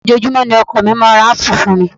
Ojoojúmọ́ ni ọkọ mi máa ń ra ápù fún mi